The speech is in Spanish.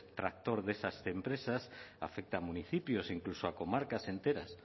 tractor de estas empresas afecta a municipios incluso a comarcas enteras